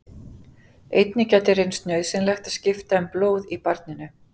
Einnig gæti reynst nauðsynlegt að skipta um blóð í barninu.